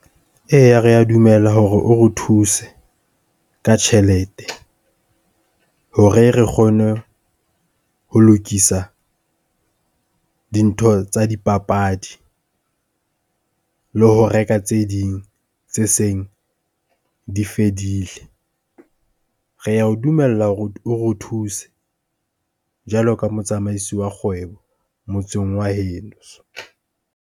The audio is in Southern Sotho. Eya rea dumela hore o re thuse ka tjhelete, hore re kgone ho lokisa dintho tsa dipapadi le ho reka tse ding tse seng di fedile. Rea o dumella hore o re thuse jwalo ka motsamaisi wa kgwebo motseng wa heno.